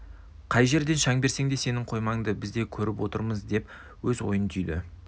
қай жерден шаң берсең де сенің қоймаңды біз де көріп отырмыз деп өз ойын түйді